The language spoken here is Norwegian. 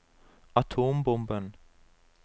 atombomben